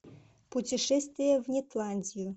путешествие в нетландию